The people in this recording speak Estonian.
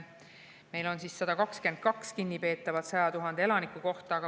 Meil on 122 kinnipeetavat 100 000 elaniku kohta.